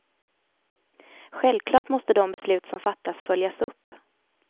Självklart måste de beslut som fattas följas upp.